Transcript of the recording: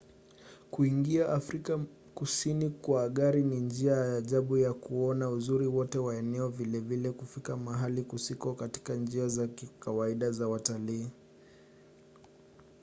kuingia afrika kusini kwa gari ni njia ya ajabu ya kuona uzuri wote wa eneo vilevile kufika mahali kusiko katika njia za kawaida za watalii